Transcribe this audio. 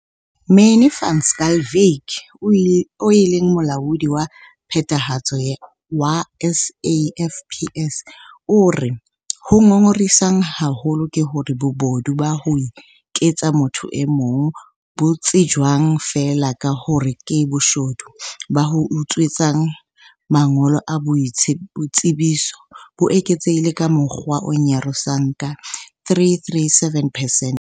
Manie van Schalkwyk, eo e leng Molaodi wa Phethahatso wa SAFPS, o re- Ho ngongorisang haholo ke hore bobodu ba ho iketsa motho e mong - bo tsejwang feela ka hore ke boshodu ba ho utswetswa mangolo a boitsebiso - bo eketsehile ka mokgwa o nyarosang ka 337 percent.